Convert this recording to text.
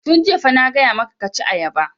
Tun jiya fa na gaya maka ka ci ayaba!